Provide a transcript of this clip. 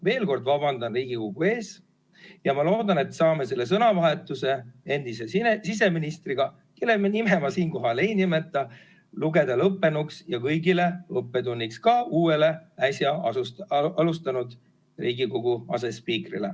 Veel kord: vabandan Riigikogu ees ja ma loodan, et saame selle sõnavahetuse endise siseministriga, kelle nime ma siinkohal ei nimeta, lugeda lõppenuks ja kõigile õppetunniks, ka uuele, äsja alustanud Riigikogu asespiikrile.